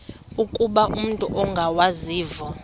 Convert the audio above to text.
ukuba umut ongawazivo